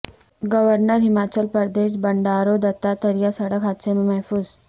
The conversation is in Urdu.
گورنر ہماچل پردیش بنڈارو دتاتریہ سڑک حادثے میں محفوظ